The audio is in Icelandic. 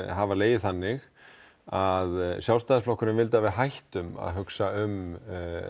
hafa legið þannig að Sjálfstæðisflokkurinn vildi að við hættum að hugsa um